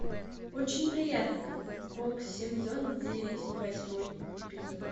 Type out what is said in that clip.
очень приятно бог сезон девять восьмой эпизод